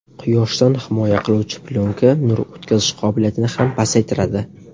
Quyoshdan himoya qiluvchi plyonka nur o‘tkazish qobiliyatini ham pasaytiradi.